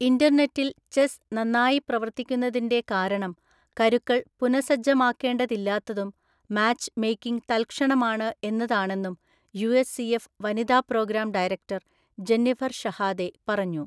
ഇന്റർനെറ്റിൽ ചെസ്സ് നന്നായി പ്രവർത്തിക്കുന്നതിന്‍റെ കാരണം കരുക്കൾ പുനഃസജ്ജമാക്കേണ്ടതില്ലാത്തതും മാച്ച് മേക്കിംഗ് തൽക്ഷണമാണ് എന്നതാണെന്നും യു.എസ്.സി.എഫ്. വനിതാ പ്രോഗ്രാം ഡയറക്ടർ ജെന്നിഫർ ഷഹാദെ പറഞ്ഞു.